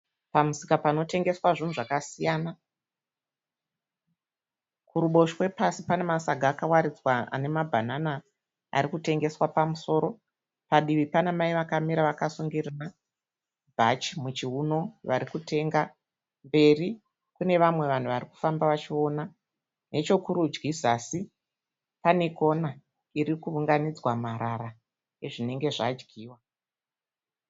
Pamusika panotengeswa zvinhu zvakasiyana. Kuruboshwe pasi pane masaga akawaridzwa ane mabhanana arikutengeswa pamusoro. Padivi pana Mai vakamira vakasungira bhachi muchiuno varikutenga. Mberi kune vamwe vanhu varikufamba vachiona. Nechekurudyi zasi pane kona irikuunganidzea marara ezvinenge zvadyiwa.